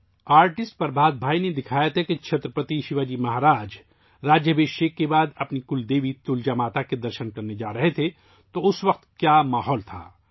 artist Prabhat bhai نے تصویر کشی کی تھی کہ چھترپتی شیواجی مہاراج تاج پوشی کے بعد اپنی کلدیوی 'تلجا ماتا' سے ملنے جا رہے تھے اور اس وقت وہاں کا ماحول کیسا تھا